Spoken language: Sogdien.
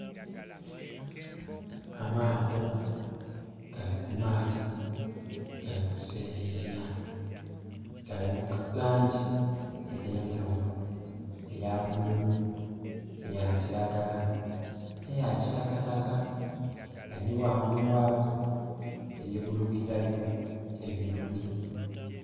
Amaato gali ku maadhi gali ku seyeya, gali mu langi edh'endhaghulo eya bululu, eya kilagala, eya kitakataka nga ni ghangulu ghago eri bulukilayo ebinonhi.